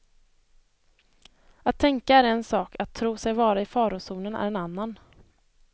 Att tänka är en sak, att tro sig vara i farozonen är en annan.